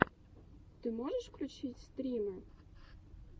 ты можешь включить стримы